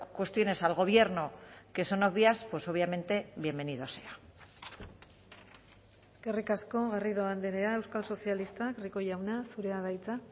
cuestiones al gobierno que son obvias pues obviamente bienvenido sea eskerrik asko garrido andrea euskal sozialistak rico jauna zurea da hitza